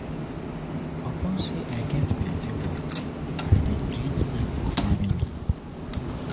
Upon sey I get plenty work, I dey create time for family.